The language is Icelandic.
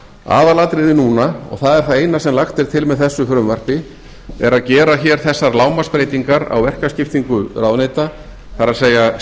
aðalatriðið núna og það er það eina sem lagt er til með þessu frumvarpi er að gera hér þessar lágmarksbreytingar á verkaskiptingu ráðuneyta það er